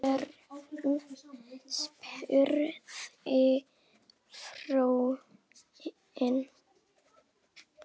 Hvern? spurði frúin.